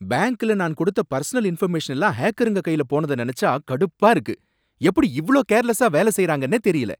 பேங்க்ல நான் கொடுத்த பர்சனல் இன்ஃபர்மேஷன் எல்லாம் ஹேக்கருங்க கையில போனத நினைச்சா கடுப்பா இருக்கு. எப்படி இவ்ளோ கேர்லெஸா வேலை செய்றாங்கன்ன தெரியல.